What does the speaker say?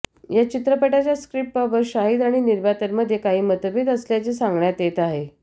या चित्रपटाच्या स्क्रिप्टबाबत शाहिद आणि निर्मात्यांमध्ये काही मतभेद असल्याचे सांगण्यात येत आहे